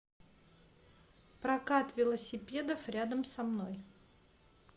прокат велосипедов рядом со мной